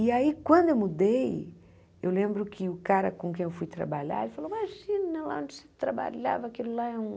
E aí, quando eu mudei, eu lembro que o cara com quem eu fui trabalhar, ele falou, imagina lá onde você trabalhava, aquilo lá é um